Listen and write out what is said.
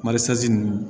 Marise ninnu